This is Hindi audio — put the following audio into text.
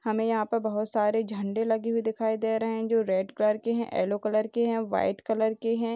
हमें यहाँ पर बहुत सारा झंडे लगे हुए दिख रहे हैं जो रेड कलर के हैं येलो कलर के हैं व्हाइट कलर के हैं।